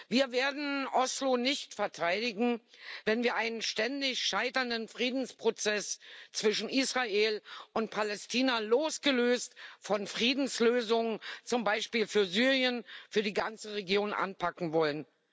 Wir werden Oslo nicht verteidigen, wenn wir einen ständig scheiternden Friedensprozess zwischen Israel und Palästina losgelöst von Friedenslösungen zum Beispiel für Syrien für die ganze Region anpacken wollen.